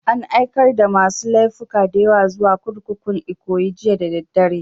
An aikar da masun laifuka da yawa zuwa kurkukun Ikoyi jiya da dare.